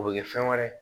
O bɛ kɛ fɛn wɛrɛ ye